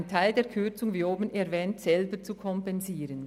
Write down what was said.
Damit kann ein Teil der Kürzung selber kompensiert werden.